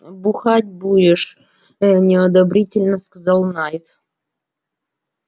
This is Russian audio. бухать будешь неодобрительно сказал найд